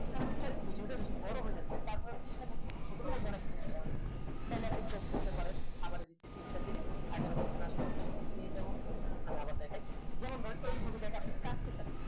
এখানে বিস্তারে video তা বেশি বোরো হয়ে যাচ্ছে তারপরেও আমি চেষ্টা করছি চত্বর মধ্যে অনেক কিছু বোঝানোর থালে আপনি crop করতে পারেন আবার start দিলে আগের এ আসলে পরে এখন থেকে যেমন আমি আবার দেখায় যেমন এই ছবিটাকে আপনি কাটতে চাইছেন